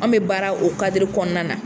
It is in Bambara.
Anw bɛ baara o kɔnɔna na